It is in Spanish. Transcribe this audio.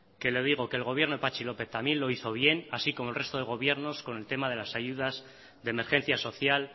que le digo que el gobierno de patxi lópez también lo hizo bien así como el resto de gobiernos con el tema de las ayudas de emergencia social